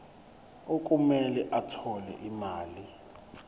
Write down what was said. okumele athole imali